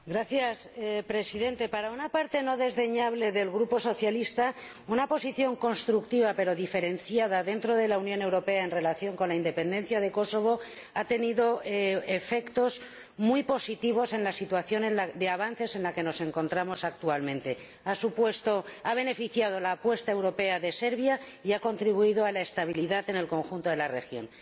Señor Presidente, para una parte no desdeñable del Grupo Socialista, una posición constructiva pero diferenciada dentro de la Unión Europea en relación con la independencia de Kosovo ha tenido efectos muy positivos en la situación de avances en la que nos encontramos actualmente ha beneficiado la apuesta europea por Serbia y ha contribuido a la estabilidad en el conjunto de la región.